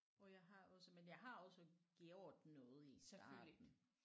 Og jeg har også men jeg har også gjort noget i starten